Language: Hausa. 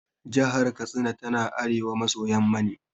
Jahar Katsina tana arewa maso yamma ne.